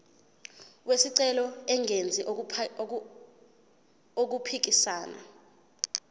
wesicelo engenzi okuphikisana